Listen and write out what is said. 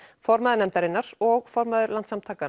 formaður nefndarinnar og formaður Landssamtakanna